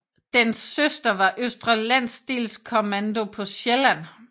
Dens søster var Østre Landsdelskommando på Sjælland